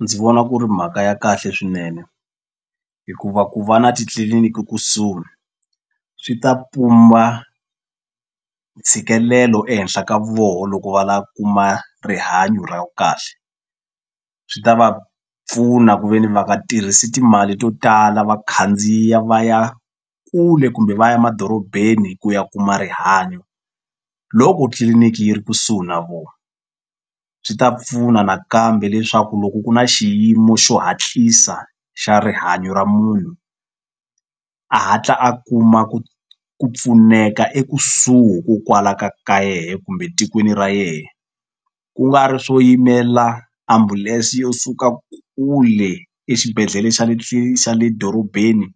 Ndzi vona ku ri mhaka ya kahle swinene hikuva ku va na titliliniki kusuhi swi ta pumba ntshikelelo ehenhla ka voho loko va la kuma rihanyo ra kahle swi ta va pfuna ku ve ni va nga tirhisi timali to tala va khandziya va ya kule kumbe va ya madorobeni ku ya kuma rihanyo loko tliliniki yi ri kusuhi na vona swi ta pfuna nakambe leswaku loko ku na xiyimo xo hatlisa xa rihanyo ra munhu a hatla a kuma ku ku pfuneka ekusuhi ko kwala ka ka yehe kumbe tikweni ra yehe ku nga ri swo yimela ambulense yo suka kule exibedhlele xa le xa le dorobeni